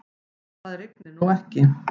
Það rignir nú ekki.